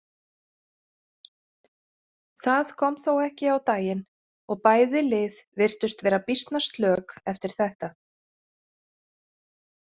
Það kom þó ekki á daginn og bæði lið virtust vera býsna slök eftir þetta.